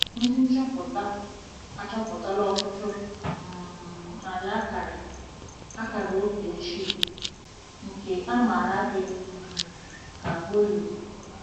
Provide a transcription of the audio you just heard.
Ndị nchọpụta achọpụtala ọtụtụ um narị akara akara oge ochie, nke a maara dị um ka bullae.